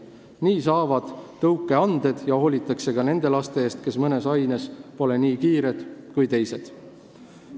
Nii saavad tõuke anded ja hoolitakse ka nendest lastest, kes mõnes aines pole nii kiired kui teised.